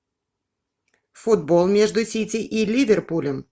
футбол между сити и ливерпулем